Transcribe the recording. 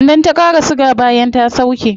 Sannan ta qara siga bayan ta sauke